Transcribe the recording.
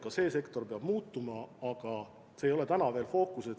Ka see sektor peab muutuma, aga see ei ole täna veel fookuses.